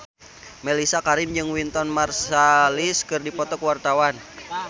Mellisa Karim jeung Wynton Marsalis keur dipoto ku wartawan